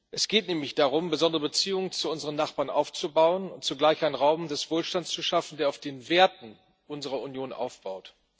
Es geht nämlich darum, besondere Beziehungen zu unseren Nachbarn aufzubauen und zugleich einen Raum des Wohlstands zu schaffen, der auf den Werten unserer Union aufbaut.